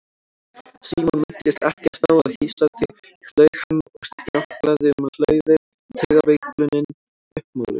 Símon minntist ekkert á að hýsa þig laug hann og stjáklaði um hlaðið, taugaveiklunin uppmáluð.